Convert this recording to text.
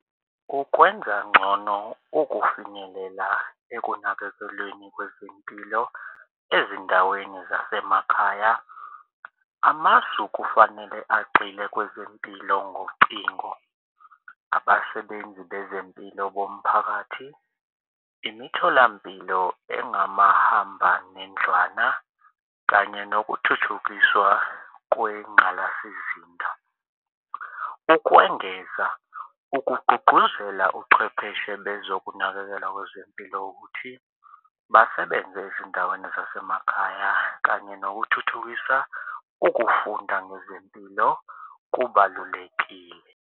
Ukwenza ngcono ukufinyelela ekunakekelweni kwezempilo ezindaweni zasemakhaya amasu kufanele agxile kwezempilo ngocingo abasebenzi bezempilo bomphakathi, imitholampilo engomahambanendlwana kanye nokuthuthukiswa kwengqalasizinda. Ukwengeza ukugqugquzela uchwepheshe bezokunakekelwa kwezempilo ukuthi basebenze ezindaweni zasemakhaya kanye nokuthuthukisa ukufunda ngezempilo kubalulekile.